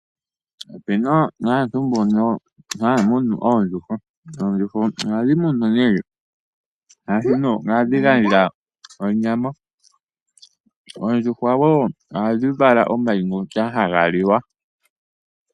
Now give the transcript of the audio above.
Opu na aantu mbono haya munu oondjuhwa. Oondjuhwa ohadhi gandja onyama . Oondjuhwa ohadhi vala wo omayi ngoka haga liwa.